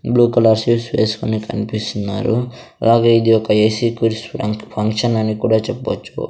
Blue colour వేస్కుని కన్పిస్తున్నారు అలాగే ఇది ఒక ఏసీ కిడ్స్ పంక్ ఫంక్షన్ అని కూడా చెప్పొచ్చు.